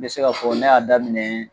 N be se k'a fɔ ne y'a daminɛ